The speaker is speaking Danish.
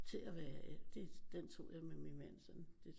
Til at være det den tog jeg med min mand sådan